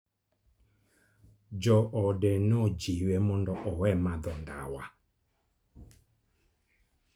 Joode nojiwe mondo owe madho ndawa.